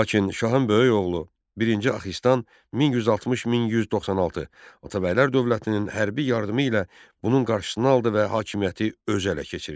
Lakin şahın böyük oğlu birinci Axistan 1160 1196 Atabəylər dövlətinin hərbi yardımı ilə bunun qarşısını aldı və hakimiyyəti özü ələ keçirdi.